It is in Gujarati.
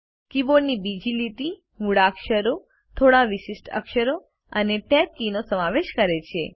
કીબોર્ડની બીજી લીટી મૂળાક્ષરો થોડા વિશિષ્ટ અક્ષરો અને Tab કી નો સમાવેશ કરે છે